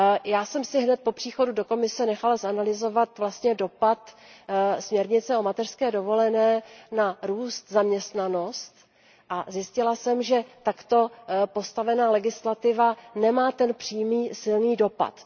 Já jsem si hned po příchodu do Komise nechala zanalyzovat dopad směrnice o mateřské dovolené na růst a zaměstnanost a zjistila jsem, že takto postavená legislativa nemá ten přímý, silný dopad.